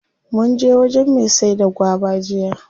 Munje wajen me saida gwaba jiya.